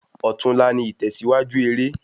Òtún la ni ìtèsíwájú eré